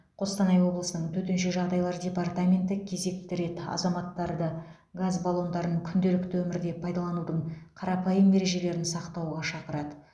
қостанай облысының төтенше жағдайлар департаменті кезекті рет азаматтарды газ баллондарын күнделікті өмірде пайдаланудың қарапайым ережелерін сақтауға шақырады